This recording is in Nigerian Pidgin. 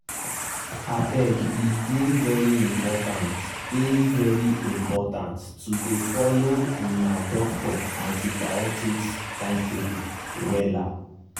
abege dey very important dey very important to dey follow una doctor antibiotics timetable wella.